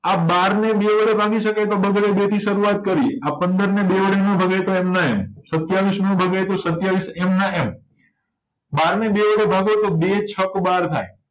આ બારને બે વડે ભાગી શકાય તો બગડે બે થી શરૂવાત કર્યે આ પંદરને બે વડે નો ભગાય તો એમના એમ સત્યાવીશનો ભગાય તો સત્યાવીશ એમના એમ બારને બે વડે ભાગોતો બે છક્ક બાર થાય